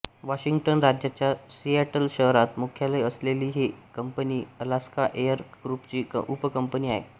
Washington राज्याच्या Seattle शहरात मुख्यालय असलेली ही कंपनी अलास्का एअर ग्रूपची उपकंपनी आहे